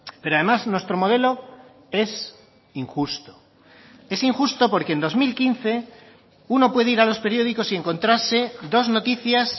pero además nuestro modelo es injusto es injusto porque en dos mil quince uno puede ir a los periódicos y encontrarse dos noticias